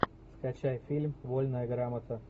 скачай фильм вольная грамота